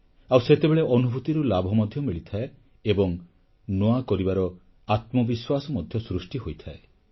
ଆଉ ସେତେବେଳେ ଅନୁଭୂତିରୁ ଲାଭ ମଧ୍ୟ ମିଳିଥାଏ ଏବଂ ନୂଆ କରିବାର ଆତ୍ମବିଶ୍ୱାସ ମଧ୍ୟ ସୃଷ୍ଟି ହୋଇଥାଏ